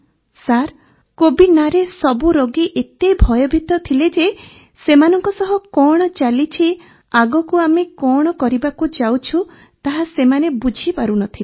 sir Covid ନାଁରେ ସବୁ ରୋଗୀ ଏତେ ଭୟଭୀତ ଥିଲେ ଯେ ସେମାନଙ୍କ ସହ କଣ ଚାଲିଛି ଆଗକୁ ଆମେ କଣ କରିବାକୁ ଯାଉଛୁ ତାହା ସେମାନେ ବୁଝିପାରୁ ନ ଥିଲେ